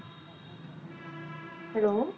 Hello